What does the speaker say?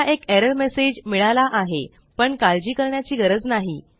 मला एक error message मिळाला आहे पण काळजी करण्याची गरज नाही